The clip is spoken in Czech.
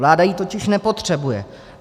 Vláda ji totiž nepotřebuje.